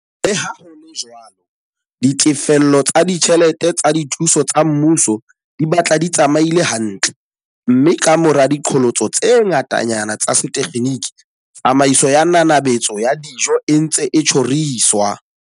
Le ha ho le jwalo, ditefello tsa ditjhelete tsa dithuso tsa mmuso di batla di tsamaile hantle, mme kamora diqholotso tse ngata-nyana tsa setekgeniki, tsamaiso ya nanabetso ya dijo e ntse e tjhoriswa.